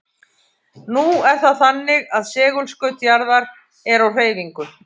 Nú er það þannig að segulskaut jarðar er á hreyfingu.